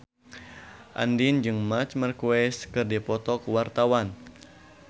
Andien jeung Marc Marquez keur dipoto ku wartawan